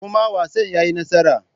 Kuma wasan ya yi nasara.